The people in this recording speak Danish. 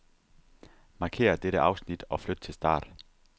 Markér dette afsnit og flyt til start.